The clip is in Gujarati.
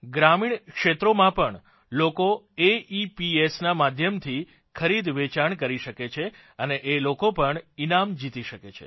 ગ્રામીણ ક્ષેત્રોમાં પણ લોકો એઇપીએસ ના માધ્યમથી ખરીદવેચાણ કરી શકે છે અને એ લોકો પણ ઇનામ જીતી શકે છે